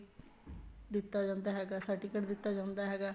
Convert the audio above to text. ਦਿੱਤਾ ਜਾਂਦਾ ਹੈਗਾ certificate ਦਿੱਤਾ ਜਾਂਦਾ ਹੈਗਾ